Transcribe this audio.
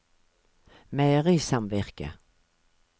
meierisamvirket